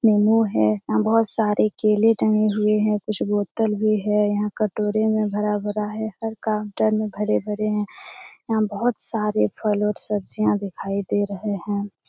निम्बू है यहाँ बहोत सारे केले टंगे हुए हैं कुछ बोतल भी है यहाँ कटोरे में भरा-भरा है हर काउंटर में भरे-भरे हैं यहाँ बहोत सारे फल और सब्जियाँ दिखाई दे रहे हैं।